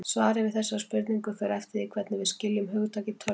Svarið við þessari spurningu fer eftir því hvernig við skiljum hugtakið tölva.